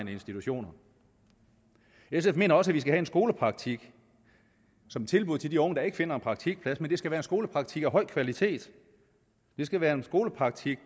institutioner sf mener også at vi skal have en skolepraktik som tilbud til de unge der ikke finder en praktikplads men det skal være en skolepraktik af høj kvalitet det skal være en skolepraktik